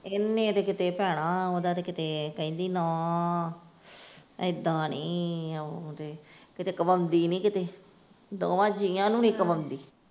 ਇਹਨੇ ਤੇ ਕਿਤੇ ਭੈਣਾਂ ਓਦਾਂ ਤੇ ਕਿਤੇ ਕਹਿੰਦੀ, ਨਾ ਏਦਾਂ ਨੀ ਉਹ ਤੇ ਕਿਤੇ ਕਵਾਉਂਦੀ ਨੀ ਕਿਤੇ ਦੋਵਾਂ ਜੀਆਂ ਨੂੰ ਨੀ ਕਵਾਉਂਦੀ।